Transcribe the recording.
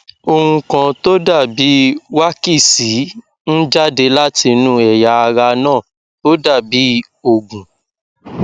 ohun kan tó dàbí wákísì ń jáde látinú ẹyà ara náà ó dàbí òógùn